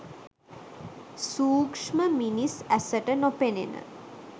සූක්‍ෂම මිනිස් ඇසට නොපෙනෙන